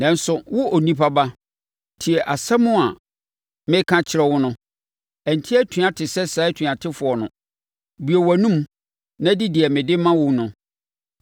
Nanso, wo onipa ba, tie asɛm a meka kyerɛ wo no. Ɛnte atua te sɛ saa atuatefoɔ no; bue wʼanomu na di deɛ mede ma wo no.”